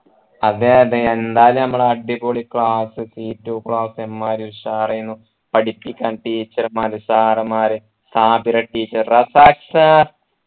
അതെ അതെ എന്തായാലും നമ്മളെ അടിപൊളി class c two class ഇമ്മാതിരി ഉഷാർ ആയനു പഠിപ്പിക്കാൻ teacher മാറ് sir മാർ സാബിറ teacher റസാഖ് sir